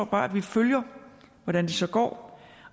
bare at vi følger hvordan det så går